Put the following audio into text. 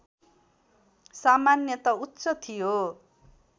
सामान्यत उच्च थियो